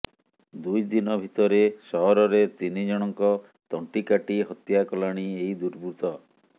ଦୁଇ ଦିନ ଭିତରେ ସହରରେ ତିନିଜଣଙ୍କ ତଣ୍ଟି କାଟି ହତ୍ୟା କଲାଣି ଏହି ଦୁର୍ବୃତ୍ତ